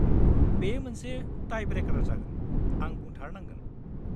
बेयो मोनसे टाइ-ब्रेकार जागोन, आं बुंथारनांगोन।